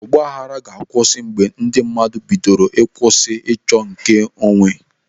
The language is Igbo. Ọgbaaghara ga-akwụsị mgbe ndị mmadụ bidoro kwụsị ịchọ nke onwe.